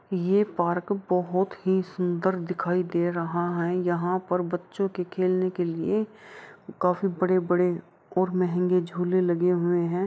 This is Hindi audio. ये पार्क बोहोत ही सुंदर दिखाई दे रहा है यहाँ पर बच्चों के खेलने के लिए काफी बड़े-बड़े और महंगे झूले लगे हुए हैं।